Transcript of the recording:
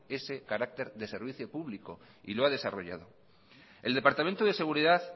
ese carácter de servicio público y lo ha desarrollado el departamento de seguridad